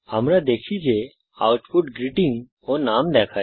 আমরা দেখি যে আউটপুট গ্রীটিং ও নাম দেখায়